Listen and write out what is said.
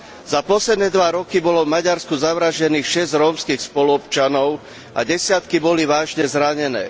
Za posledné dva roky bolo v Maďarsku zavraždených šesť rómskych spoluobčanov a desiatky boli vážne zranené.